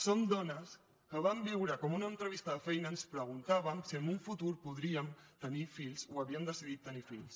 som dones que vam viure com a una entrevista de feina ens preguntaven si en un futur podríem tenir fills o havíem decidit tenir fills